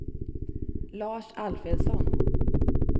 Lars Alfredsson